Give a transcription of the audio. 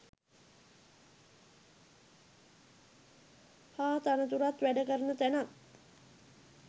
හා තනතුරත් වැඩ කරන තැනත්